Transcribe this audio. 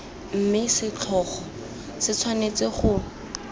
mme setlhogo se tshwanetse go